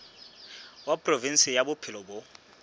wa provinse ya bophelo bo